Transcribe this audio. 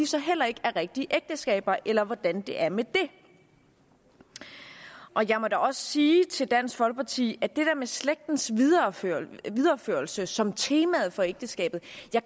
så heller ikke er rigtige ægteskaber eller hvordan det er med det jeg må da også sige til dansk folkeparti at det der med slægtens videreførelse videreførelse som temaet for ægteskabet